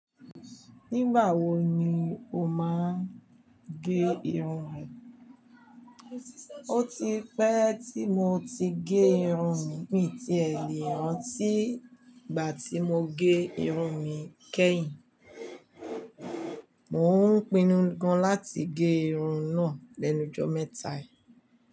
Nígbà wo ni o máa ń gé irun ẹ? O ti pẹ́ tí mo ti gé irun mi, mi tiẹ̀ lè rántí ìgbà tí mo gé irun mi kẹ́yìn. Mò ń pinnu gan láti gé irun náà lẹ́nu ọjọ́ mẹ́ta yì.